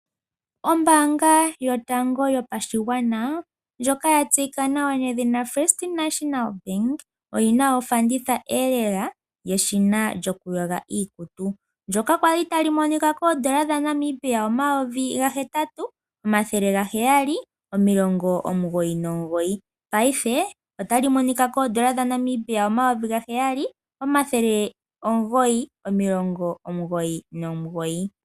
Ombaanga yotango yopashigwana ndyoka ya tseyika nawa nedhina First National Bank oyina ofanditha lela yeshina lyokuyoga iikutu ndyoka kwali tali monika ko N$8799, paife otali monika koN$7999.